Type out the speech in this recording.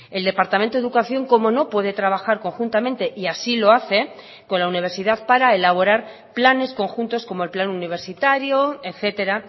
el departamento de educación cómo no puede trabajar conjuntamente y así lo hace con la universidad para elaborar planes conjuntos como el plan universitario etcétera